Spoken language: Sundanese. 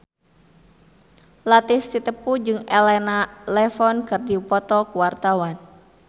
Latief Sitepu jeung Elena Levon keur dipoto ku wartawan